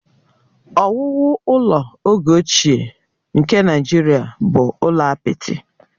Ọwụwụ ụlọ oge ochie nke Naijiria bụ ụlọ apịtị